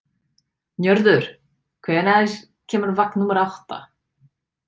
Njörður, hvenær kemur vagn númer átta?